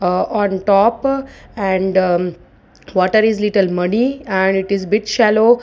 ah on top and water is little muddy and it is bit shallow.